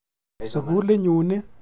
Sukulit nyun ni.